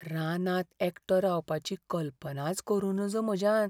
रानांत एकटो रावपाची कल्पनाच करूं नजो म्हाज्यान.